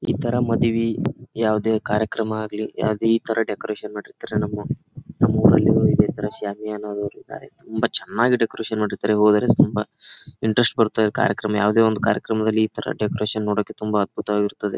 ಈ ತರ ಮದುವಿ ಯಾವುದೇ ಕಾರ್ಯಕ್ರಮ ಆಗಲಿ ಯಾವುದೇ ಈ ತರ ಡೆಕೋರೇಷನ್ ಮಾಡಿರ್ತಾರೆ ನಮ್ಮ ನಮ್ಮೂರಲ್ಲೂ ಇದೆ ತರ ಶಾಮಿಯಾನ ದವ್ರಿದ್ದಾರೆ ತುಂಬಾ ಚೆನ್ನಾಗಿ ಡೆಕೋರೇಷನ್ ಮಾಡಿರ್ತಾರೆ ಹೋದರೆ ತುಂಬಾ ಇಂಟರೆಸ್ಟ್ ಬರುತ್ತೆ ಕಾರ್ಯಕ್ರಮ ಯಾವುದೇ ಒಂದು ಕಾರ್ಯಕ್ರಮ ದಲ್ಲಿ ಈ ತರ ಡೆಕೋರೇಷನ್ ನೋಡಕ್ಕೆ ತುಂಬಾ ಅದ್ಭುತವಾಗಿರುತ್ತದೆ.